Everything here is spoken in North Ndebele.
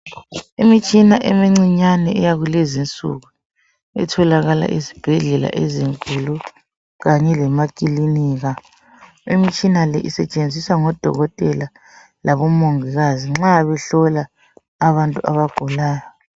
Imitshina emincinyane eyakulezinsuku etholakala ezibhedlela ezinkulu kanye lemakilinika, imitshina le isetshenziswa ngodokotela labo mongikazi nxa behlola abantu abagulayo.